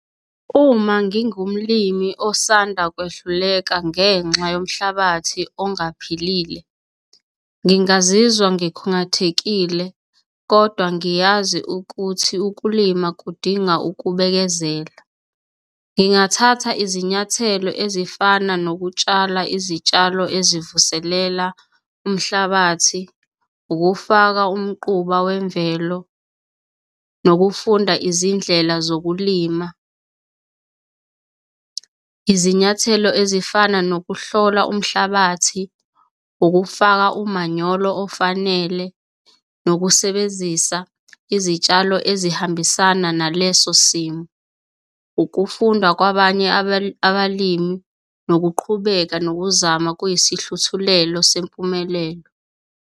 Uma ngingumlimi osanda kwehluleka ngenxa yomhlabathi ongaphilile, ngingazizwa ngikhungathekile kodwa ngiyazi ukuthi ukulima kudinga ukubekezela. Ngingathatha izinyathelo ezifana nokutshala izitshalo ezivuselela umhlabathi, ukufaka umquba wemvelo nokufunda izindlela zokulima, izinyathelo ezifana nokuhlola umhlabathi, ukufaka umanyolo ofanele, nokusebenzisa izitshalo ezihambisana naleso simo, ukufunda kwabanye abalimi nokuqhubeka nokuzama kuyisihluthulelo sempumelelo.